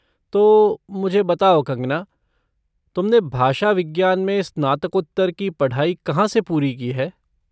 तो, मुझे बताओ, कंगना, तुमने भाषा विज्ञान में स्नातकोत्तर की पढ़ाई कहाँ से पूरी की है?